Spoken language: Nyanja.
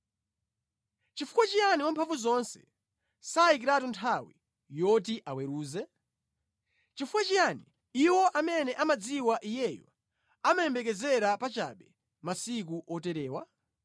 “Chifukwa chiyani Wamphamvuzonse sayikiratu nthawi yoti aweruze? Chifukwa chiyani iwo amene amadziwa Iyeyo amayembekezera pachabe masiku oterewa?